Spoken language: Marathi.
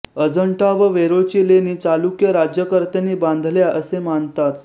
अजंठा व वेरुळची लेणी चालुक्य राज्यकर्त्यांनी बांधल्या असे मानतात